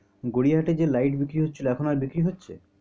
গড়িয়া হাটে যে light বিক্রি হচ্ছিলো এখন আর বিক্রি হচ্ছে?